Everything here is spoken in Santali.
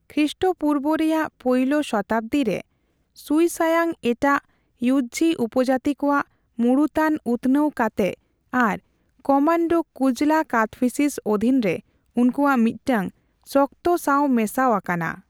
ᱠᱷᱤᱥᱴᱚᱯᱩᱨᱵᱟ ᱨᱮᱭᱟᱜ ᱯᱳᱭᱞᱳ ᱥᱚᱛᱟᱵᱫᱤ ᱨᱮᱥᱩᱭᱥᱟᱭᱟᱝ ᱮᱴᱟᱜ ᱤᱭᱩᱡᱷᱤ ᱩᱯᱚᱡᱟᱛᱤ ᱠᱚᱣᱟᱜ ᱢᱩᱬᱩᱛᱟᱱ ᱩᱛᱱᱟᱹᱣ ᱠᱟᱛᱮᱜ ᱟᱨ ᱠᱚᱢᱟᱱᱰᱩ ᱠᱩᱡᱞᱟ ᱠᱟᱫᱯᱷᱤᱥᱤᱥ ᱚᱫᱷᱤᱱ ᱨᱮ ᱩᱱᱠᱩᱣᱟᱜ ᱢᱤᱫᱴᱟᱝ ᱥᱚᱠᱛᱚ ᱥᱟᱣ ᱢᱮᱥᱟᱣ ᱟᱠᱟᱱᱟ ᱾